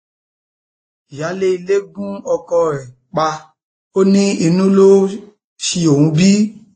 ìyáálé ilé gun ọkọ ẹ pa ò ní inú ló ṣi òun bí